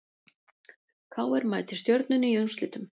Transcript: KR mætir Stjörnunni í úrslitum